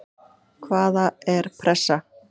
Hvaða er pressa?